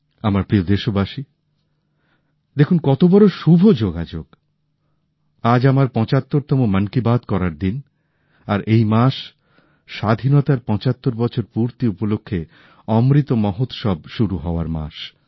আমার প্রিয় দেশবাসী দেখুন কত বড় শুভ যোগাযোগ আজ আমার ৭৫তম মন কি বাত করার দিন আর এই মাস স্বাধীনতার ৭৫ বছর পূর্তি উপলক্ষ্যে অমৃত মহোৎসব শুরু হওয়ার মাস